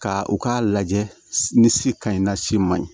Ka u k'a lajɛ ni si ka ɲi na si ma ɲi